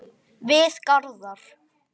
Við Garðar